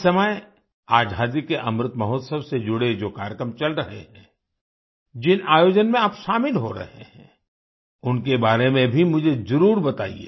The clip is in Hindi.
इस समय आज़ादी के अमृत महोत्सव से जुड़े जो कार्यक्रम चल रहे हैं जिन आयोजन में आप शामिल हो रहे हैं उनके बारे में भी मुझे जरूर बताइए